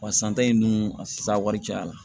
Wa san ta in ninnu a sa wari cayara